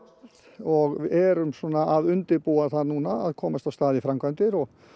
og erum svona að undirbúa það núna að komast af stað í framkvæmdir